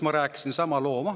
Ma rääkisin sama loo maha.